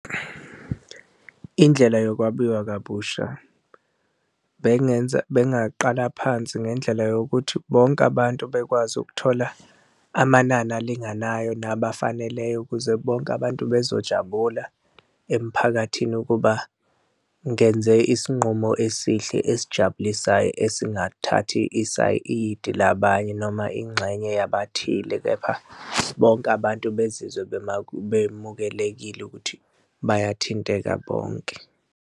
Indlela yokwabiwa kabusha bengenza, bengaqala phansi ngendlela yokuthi bonke abantu bekwazi ukuthola amanani alinganayo nabafaneleyo ukuze bonke abantu bazojabula emphakathini ukuba ngenze isinqumo esihle esijabulisayo esingathathi isayidi labanye noma ingxenye yabathile, kepha bonke abantu bezizwe bemukelekile ukuthi bayathinteka bonke.